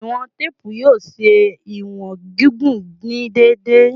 Iwọn teepu yoo ṣe iwọn gigun ni deede